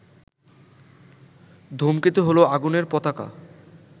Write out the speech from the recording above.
ধূমকেতু হলো আগুনের পতাকা